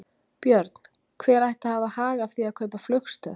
Björn: Hver ætti að hafa hag af því að kaupa flugstöð?